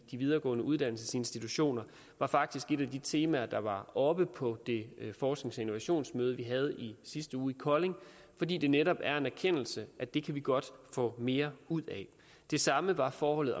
de videregående uddannelsesinstitutioner var faktisk et af de temaer der var oppe på det forsknings og innovationsmøde vi havde i sidste uge i kolding fordi det netop er en erkendelse at det kan vi godt få mere ud af det samme var forholdet